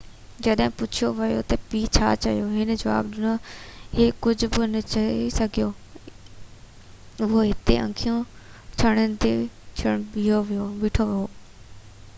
جڏهن پڇيو ويو تہ پيءُ ڇا چيو هن جواب ڏنو هي ڪجهہ بہ نہ چئي سگهيو اهو هتي اکيون ڇنڀڻيدي بيٺو هو